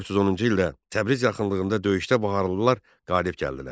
1410-cu ildə Təbriz yaxınlığında döyüşdə baharlılar qalib gəldilər.